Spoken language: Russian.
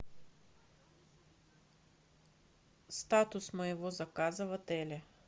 статус моего заказа в отеле